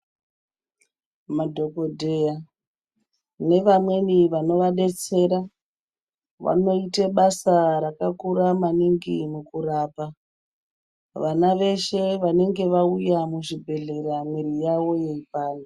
Madhokodheya nevamweni vanovadetsera vanoite basa rakakura maningi mukurapa vana veshe vanenge vauya muzvibhehleya mwiri yawo yeipanda.